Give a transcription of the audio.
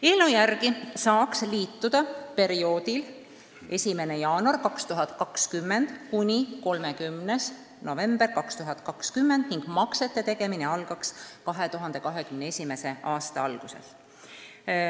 Eelnõu järgi saaks liituda perioodil 1. jaanuar 2020 kuni 30. november 2020 ning maksete tegemine algaks 2021. aasta alguses.